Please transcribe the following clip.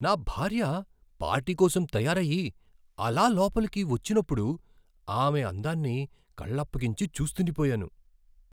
నా భార్య పార్టీ కోసం తయారయ్యి, అలా లోపలికి వచ్చినప్పుడు, ఆమె అందాన్ని కళ్ళప్పగించి చూస్తుండిపోయాను.